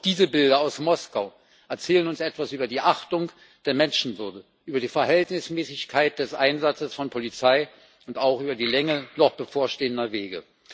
Auch diese Bilder aus Moskau erzählen uns etwas über die Achtung der Menschenwürde, über die Verhältnismäßigkeit des Einsatzes von Polizei und auch über die Länge noch bevorstehender Wege.